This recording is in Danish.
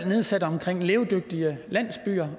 nedsat om levedygtige landsbyer